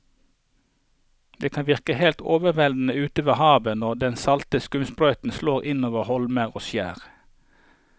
Det kan virke helt overveldende ute ved havet når den salte skumsprøyten slår innover holmer og skjær.